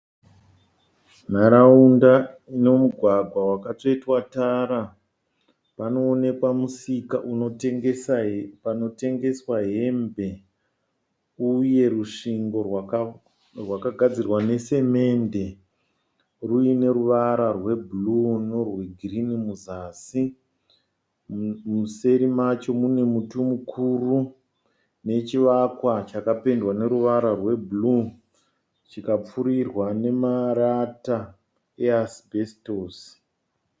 Nharaunda ino mugwagwa wakatsvetwa tara. Panoonekwa musika panotengeswa hembe uye rusvingo rwakagadzirwa nesemende ruiine ruvara rwebhuruu nerwegirini muzasi. Museri macho mune muti mukuru nechivakwa chakapendwa neruvara rwebhuruu chikapfurirwa nemarata easibesitosi.